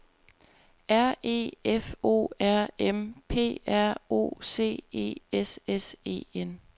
R E F O R M P R O C E S S E N